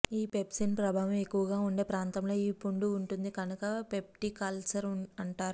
ఈ పెప్సిన్ ప్రభావం ఎక్కువగా ఉండే ప్రాంతంలో ఈ పుండు ఉంటుంది కనుక పెప్టిక్ అల్సర్ అంటారు